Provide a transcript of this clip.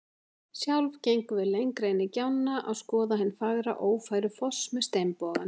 Sjálf gengum við lengra inn í gjána að skoða hinn fagra Ófærufoss með steinboganum.